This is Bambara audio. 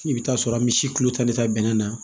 I bɛ t'a sɔrɔ an bɛ si kilo tan de ta bɛnɛ na